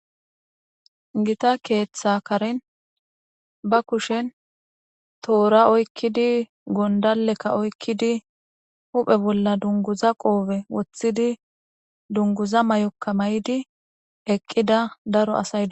gita keeththa karin ba kushen toora oykkidi gondalekka oykkidi huphe bolla dunguza qoobe woththidi dunguza may7okka may7di eqqida daro asaydo